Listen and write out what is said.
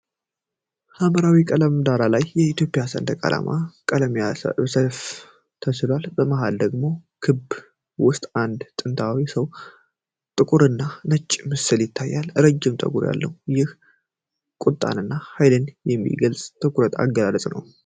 በሐምራዊ ቀለም ዳራ ላይ የኢትዮጵያ ሰንደቅ ዓላማ ቀለሞች በሰያፍ ተስለዋል። በመሃል ደግሞ በክብ ውስጥ የአንድ ጥንታዊ ሰው ጥቁርና ነጭ ምስል ይታያል። ረጅም ፀጉር ያለው ይህ ሰው ቁጣንና ኃይልን የሚገልጽ የትኩረት አገላለጽ አለው።